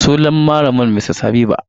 Sunan malamar Mrs Habiba.